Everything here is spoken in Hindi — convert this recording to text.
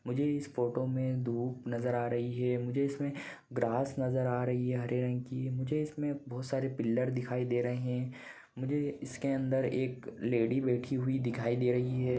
आज मुझे इस फोटो में धूप नजर आ रही है मुझे इसमें ग्रास नजर आ रही है हरे रंग कि मुझे इसमें बहुत सारे पिलर दिखाई दे रहे हैं मुझे इसके अंदर एक लेडी बैठी हुई दिखाई दे रही है।